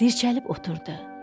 Dirçəlib oturdu.